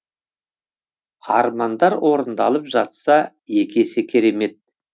армандар орындалып жатса екі есе керемет